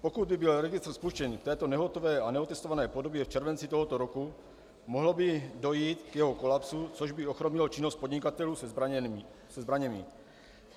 Pokud by byl registr spuštěn v této nehotové a neotestované podobě v červenci tohoto roku, mohlo by dojít k jeho kolapsu, což by ochromilo činnost podnikatelů se zbraněmi.